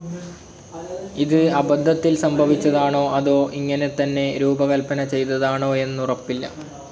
ഇത് അബദ്ധത്തിൽ സംഭവിച്ചതാണോ അതോ ഇങ്ങനെത്തന്നെ രൂപകൽപന ചെയ്തതാണോയെന്നുറപ്പില്ല.